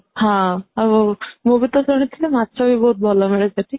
ହଁ ମୁଁ ବି ତ ଶୁଣିଥିଲି ମାଛ ବି ବହୁତ ଭଲ ମିଳେ ସେଠି